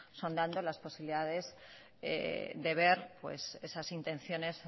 sondando las posibilidades de ver esas intenciones